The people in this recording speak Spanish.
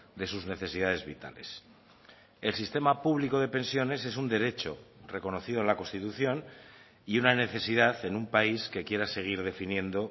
de sus necesidades vitales el sistema público de pensiones es un derecho reconocido en la constitución y una necesidad en un país que quiera seguir definiendo